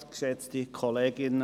Kommissionssprecher